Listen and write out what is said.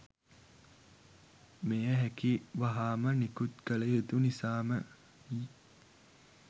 මෙය හැකි වහාම නිකුත් කළ යුතු නිසාමයි.